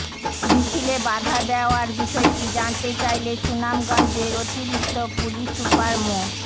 মিছিলে বাধা দেওয়ার বিষয়টি জানতে চাইলে সুনামগঞ্জের অতিরিক্ত পুলিশ সুপার মো